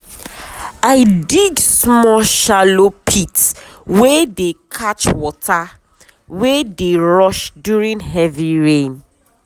i dig small shallow pit wey dey catch water wey dey rush during heavy rain.